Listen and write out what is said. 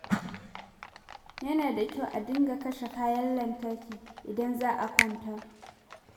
Yana da kyau a dinga kashe kayan lantarki idan za a kwanta.